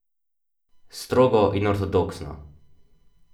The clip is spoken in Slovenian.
Strogo in ortodoksno.